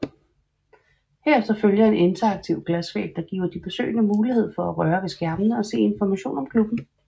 Herefter følger en interaktiv glasvæg der giver de besøgende mulighed for at røre ved skærmene og se information om klubben